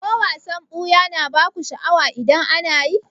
Ko wasan ɓuya na baku sha'awa idan ana yi?